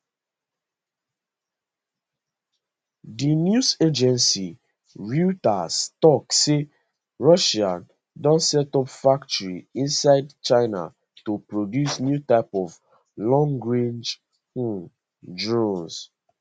di news agency reuters tok say russia don set up factory inside china to produce new type of longrange um drone